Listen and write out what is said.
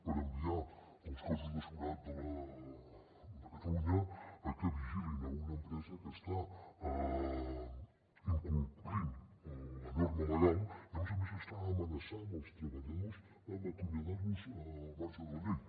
per enviar els cossos de seguretat de catalunya a que vigilin una empresa que està incomplint la norma legal i a més a més està amenaçant els treballadors amb acomiadar los al marge de la llei